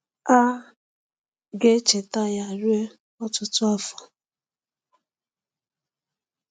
A ga-echeta ya ruo ọtụtụ afọ.